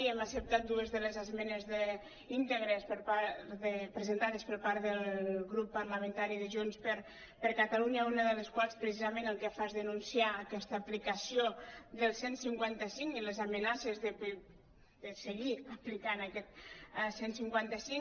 hem acceptat dues de les esmenes íntegres presentades per part del grup parla·mentari de junts per catalunya una de les quals precisament el que fa és denun·ciar aquesta aplicació del cent i cinquanta cinc i les amenaces de seguir aplicant aquest cent i cinquanta cinc